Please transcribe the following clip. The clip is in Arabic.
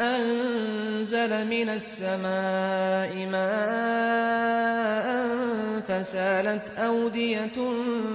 أَنزَلَ مِنَ السَّمَاءِ مَاءً فَسَالَتْ أَوْدِيَةٌ